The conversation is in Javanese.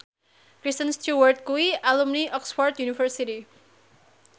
Kristen Stewart kuwi alumni Oxford university